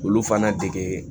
Olu fana dege